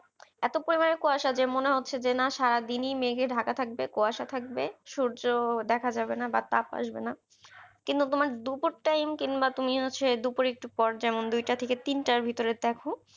এত পরিমাণে কুয়াশা যে মনে হচ্ছে যে না সারাদিনই মেঘে ঢাকা থাকবে কুয়াশা থাকবে সূর্য দেখা যাবেনা বা তাপ আসবেনা কিন্তু তোমার দুপুর time কিংবা তুমি হচ্ছে দুপুরে একটু পর যেমন দুইটা থেকে তিনটার ভেতরে দেখো